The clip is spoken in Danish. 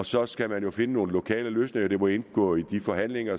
så skal man jo finde nogle lokale løsninger det må indgå i de forhandlinger